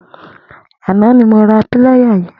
Àná ni mó rà pìláyá yẹ̀n